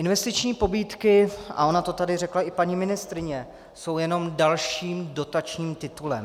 Investiční pobídky, a ona to tady řekla i paní ministryně, jsou jenom dalším dotačním titulem.